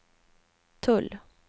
tull